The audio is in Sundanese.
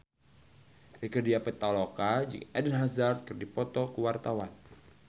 Rieke Diah Pitaloka jeung Eden Hazard keur dipoto ku wartawan